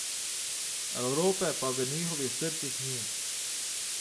Evrope pa v njihovih srcih ni.